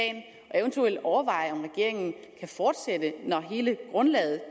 eventuelt overveje om regeringen kan fortsætte når hele grundlaget